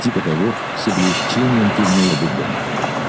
типа того с облегчением кивнула бурбон